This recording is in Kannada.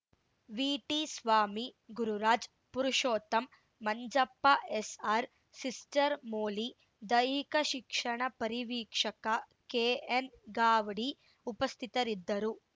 VT Swamy Gururaj Purushottam Manjappa S R sister Molly ದೈಹಿಕ ಶಿಕ್ಷಣ ಪರಿವೀಕ್ಷಕ ಕೆಎನ್‌ ಗಾವಡಿ ಉಪಸ್ಥಿತರಿದ್ದರು